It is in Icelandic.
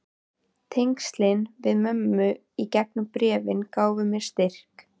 Tengslin við mömmu í gegnum bréfin gáfu mér styrk.